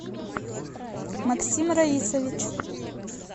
максим раисович